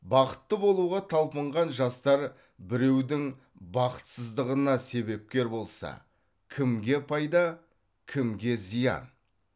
бақытты болуға талпынған жастар біреудің бақытсыздығына себепкер болса кімге пайда кімге зиян